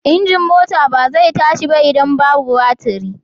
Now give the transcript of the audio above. Injin mota ba zai tashi ba idan babu batiri.